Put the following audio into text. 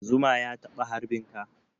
Zuma ya taɓa harbin ka?